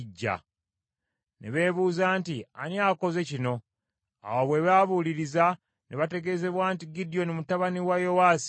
Ne beebuuza nti, “Ani akoze kino?” Awo bwe babuuliriza, ne bategeezebwa nti, “Gidyoni mutabani wa Yowaasi y’akikoze”.